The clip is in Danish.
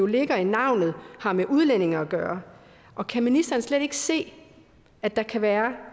ligger i navnet har med udlændinge at gøre og kan ministeren slet ikke se at der kan være